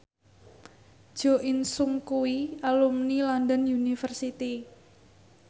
Jo In Sung kuwi alumni London University